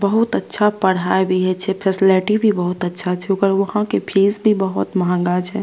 बहुत अच्छा पढ़ाय भी हे छे फैसलिटी भी बहुत अच्छा छे ओकर वहां के फीस बहोत महंगा छे।